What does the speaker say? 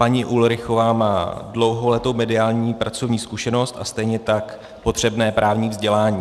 Paní Ulrichová má dlouholetou mediální pracovní zkušenost a stejně tak potřebné právní vzdělání.